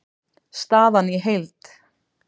Staðan í heild